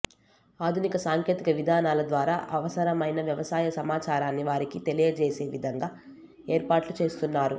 ఆధునిక సాంకేతిక విధానాల ద్వారా అవసరమైన వ్యవసాయ సమాచారాన్ని వారికి తెలియజేసే విధంగా ఏర్పాట్లుచేస్తున్నారు